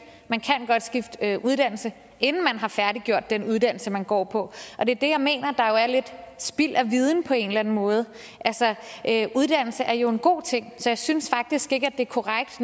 at uddannelse inden man har færdiggjort den uddannelse man går på og det er det jeg mener er lidt spild af viden på en eller anden måde uddannelse er jo en god ting så jeg synes faktisk ikke det er korrekt